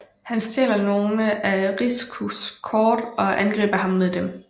Han stjæler nogle af Rikus kort og angriber ham med dem